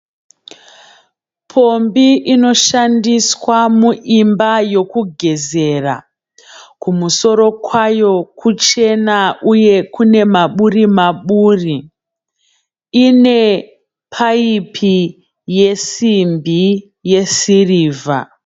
Pombi inoshandiswa muimba yekugezera, kumusoro kwayo kuchena uye kune maburi maburi , ine paipi yesimbi yesirivha.